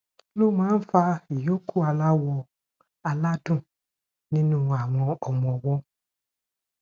kí ló máa ń fa ìyókù aláwò aládùn nínú ọmọ ọwó